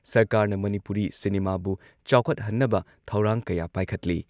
ꯁꯔꯀꯥꯔꯅ ꯃꯅꯤꯄꯨꯔꯤ ꯁꯤꯅꯤꯃꯥꯕꯨ ꯆꯥꯎꯈꯠꯍꯟꯅꯕ ꯊꯧꯔꯥꯡ ꯀꯌꯥ ꯄꯥꯏꯈꯠꯂꯤ ꯫